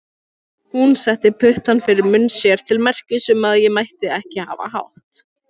Hún setti putta fyrir munn sér til merkis um að ég mætti ekki hafa hátt.